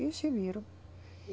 E se viram.